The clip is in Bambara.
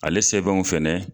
Ale sɛbɛnw fɛnɛ